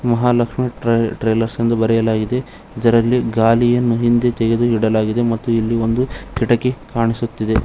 ಮಹಾಲಕ್ಷ್ಮಿ ಟ್ರೇ ಟ್ರೇಲರ್ಸ್ ಎಂದು ಬರೆಯಲಾಗಿದೆ ಅದರಲ್ಲಿ ಗಾಲಿಯನ್ನು ತೆಗೆದು ಇಡಲಾಗಿದೆ ಮತ್ತು ಇಲ್ಲಿ ಒಂದು ಕಿಟಕಿ ಕಣ್ಣಿಸುತ್ತಿದೆ.